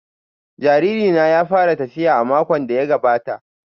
Jariri na ya fara tafiya a makon da ya gabata